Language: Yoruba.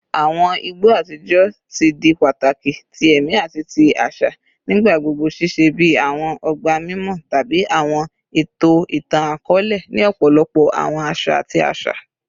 Awọn igbo atijọ ti di pataki ti ẹmi ati ti aṣa, nigbagbogbo ṣiṣẹ bi awọn ọgba mimọ tabi awọn eto itan-akọọlẹ ni ọpọlọpọ awọn aṣa ati aṣa.